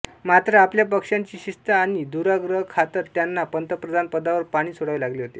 मात्र आपल्या पक्षाची शिस्त आणि दुराग्रहाखातर त्यांना पंतप्रधानपदावर पाणी सोडावे लागले होते